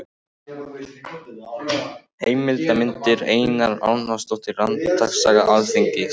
Heimildir og myndir: Einar Arnórsson: Réttarsaga Alþingis.